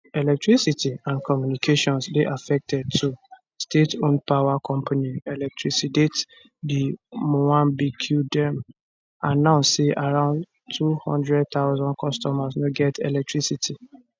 electricity and communications dey affected too stateowned power company electricidade de moambique edm announce say around 200000 customers no get electricity